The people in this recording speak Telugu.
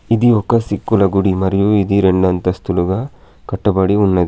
ఇది ఒక సిక్కుల గుడి మరియు ఇది రెండు అంతస్తులుగా కట్టబడి ఉన్నది.